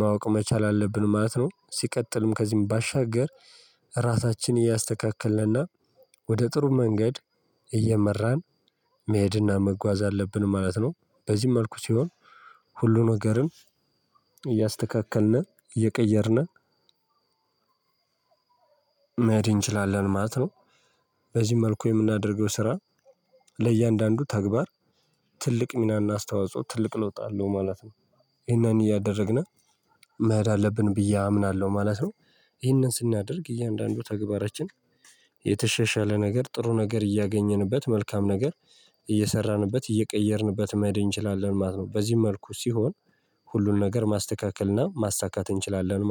ማወቅ መቻል አለብን ማለት ነው። ሲቀጥልም ከዚህም ባሻገር ራሳችንን እያስተካከልንና ወደ ጥሩ መንገድ እየመራን መሄድና መጓዝ አለብን ማለት ነው። በዚህ መልኩ ሲሆን ሁሉ ነገርን እያስተካከልነ እየቀየርን መሄድ እንችላለን ማለት ነው። በዚህ መልኩ የምናደርገው ስራ ለእያንዳንዱ ተግባር ትልቅ ሚናና አስተዋጽኦ ትልቅ ለውጥ አለው ማለት ነው። ይሄን እያደረግነ መሄድ አለብን ብዬ አምናለሁ ማለት ነው። ይሄንን ስናደርግ እያንዳንዱ ተግባራችን የተሻሻለ ነገር ጥሩ ነገር እያገኘንበት መልካም ነገር እየሰራንበት እየቀየርንበት መሄድ እንችላለን ማለት ነው። በዚህ መልኩ ሲሆን ሁሉን ነገር ማስተካከልና ማሳካት እንችላለን